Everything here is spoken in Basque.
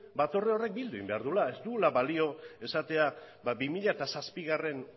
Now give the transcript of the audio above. batzorde hori bildu egin behar da ez duela balio esatea bi mila zazpigarrena